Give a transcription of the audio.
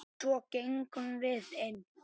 Svo gengum við inn.